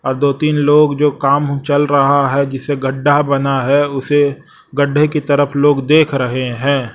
और दो तीन लोग जो काम चल रहा है जिसे गड्ढा बना है उसी गड्ढे की तरफ लोग देख रहे हैं।